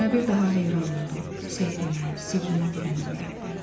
Sənə bir daha heyran oldum, sehrinə, sirrinə büründüm, Rəbbim.